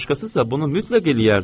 Başqasısa bunu mütləq eləyərdi.